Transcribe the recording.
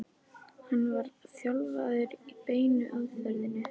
hann var þjálfaður í beinu aðferðinni.